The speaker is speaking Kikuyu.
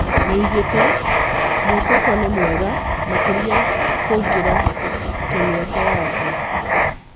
Nĩoigĩte "Moukoko nĩ mwega makĩria kũngĩra kĩmĩaka yake"